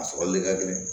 A sɔrɔli ka gɛlɛn